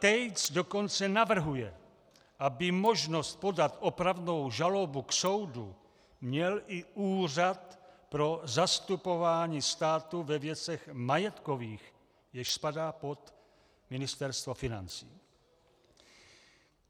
Tejc dokonce navrhuje, aby možnost podat opravnou žalobu k soudu měl i Úřad pro zastupování státu ve věcech majetkových, jenž spadá pod Ministerstvo financí.